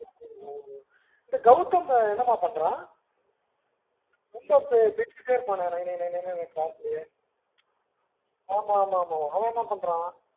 இந்த Gowtham என்னமா பன்றான் ரொம்ப பேசிட்டே இருப்பான் ல நை நை னு class ல ஆமா ஆமா அவன் என்ன பண்ணுறான்